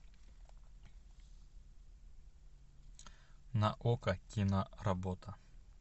на окко киноработа